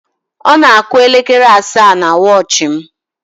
Ọ na-àkụ́ elekere asaa na wọchị m.